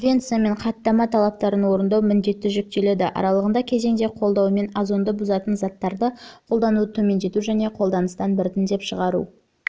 конвенция мен хаттама талаптарын орындау міндеті жүктеледі аралығындағы кезеңде қолдауымен озонды бұзатын заттарды қолдануды төмендету және қолданыстан біртіндеп